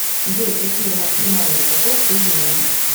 джой какие максимальный поток ты знаешь